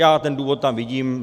Já ten důvod tam vidím.